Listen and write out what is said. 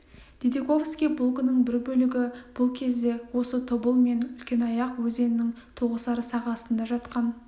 дидиковский полкінің бір бөлігі бұл кезде осы тобыл мен үлкенаяқ өзенінің тоғысар сағасында жатқан